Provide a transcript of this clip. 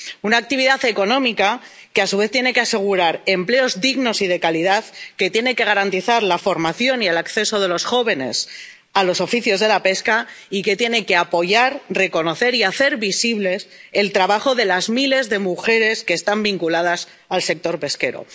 Una actividad económica que, a su vez, tiene que asegurar empleos dignos y de calidad, que tiene que garantizar la formación y el acceso de los jóvenes a los oficios de la pesca y que tiene que apoyar, reconocer y hacer visible el trabajo de las miles de mujeres que están vinculadas al sector pesquero.